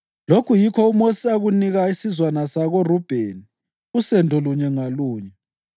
Lokhu yikho uMosi akunika isizwana sakoRubheni, usendo lunye ngalunye: